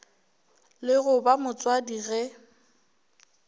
le go ba motswadi ge